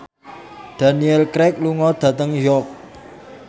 Daniel Craig lunga dhateng York